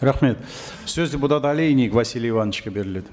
рахмет сөз депутат олейник василий ивановичке беріледі